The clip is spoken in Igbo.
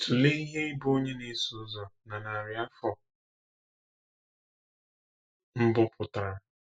Tụlee ihe ịbụ onye na-eso ụzọ na narị afọ mbụ pụtara.